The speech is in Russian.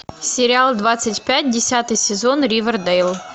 сериал двадцать пять десятый сезон ривердейл